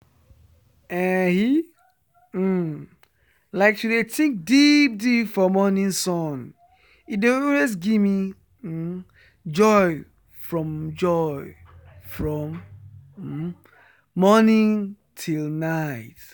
eehi um like to dey think deep deep for morning sun e dey always give me um joy from joy from um morning till night.